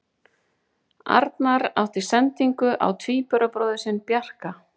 Arnar átti sendingu á tvíburabróðir sinn Bjarka.